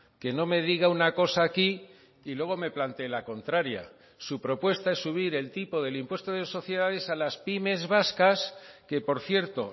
que no me diga una cosa aquí y luego me planteé la contraria su propuesta es subir el tipo del impuesto de sociedades a las pymes vascas que por cierto